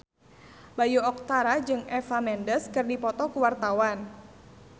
Bayu Octara jeung Eva Mendes keur dipoto ku wartawan